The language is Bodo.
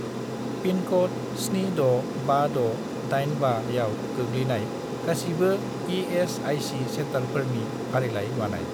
पिनक'ड 765685 आव गोग्लैनाय गासिबो इ.एस.आइ.सि. सेन्टारफोरनि फारिलाइ बानाय।